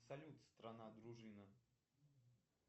салют страна дружина